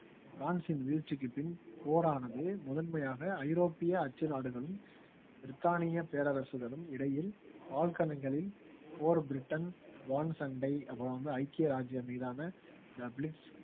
பிரான்சின் வீழ்ச்சிக்குப் பின் போரானது முதன்மையாக ஐரோப்பிய அச்சு நாடுகளும் பிரித்தானிய பேரரசுகளும் இடையில் போர் பிரிட்டன் வான்சண்டை அப்புறம் வந்து ஐக்கிய ராஜ்ஜியம் மீதான